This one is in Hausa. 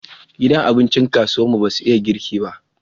Gidan abincin kasuwar mu basu iya girki ba